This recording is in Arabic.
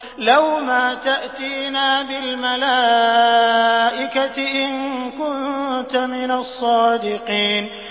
لَّوْ مَا تَأْتِينَا بِالْمَلَائِكَةِ إِن كُنتَ مِنَ الصَّادِقِينَ